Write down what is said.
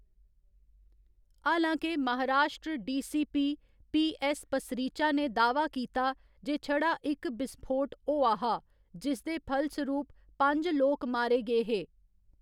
हालां के, Maharashtra D. C. P, P. S. Pasricha ने दा‌‌ह्‌वा कीता जे छड़ा इक बिस्फोट होआ हा, जिसदे फलसरूप पंज लोक मारे गे हे।